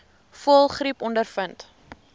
voëlgriep ondervind